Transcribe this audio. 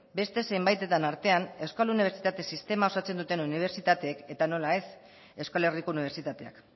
beste zenbaitetan artean euskal unibertsitate sistema osatzen duten unibertsitateek eta nola ez euskal herriko unibertsitateak